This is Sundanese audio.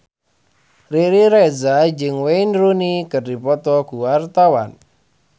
Riri Reza jeung Wayne Rooney keur dipoto ku wartawan